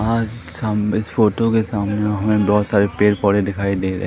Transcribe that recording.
ओर सामने इस फोटो के सामने हमें बहोत सारे पेड़ पौधे दिखाई दे रहे--